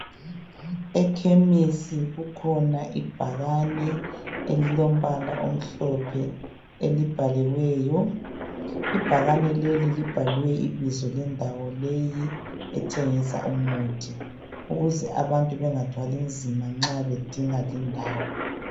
EChemistry kukhona ibhakane elilombala omhlophe elibhaliweyo ibhakane leli libhaliwe ibizo lendawo leyi ethengisa umuthi ukuze abantu bengathwali nzima nxa abantu bedinga lindawo